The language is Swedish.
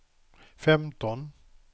femton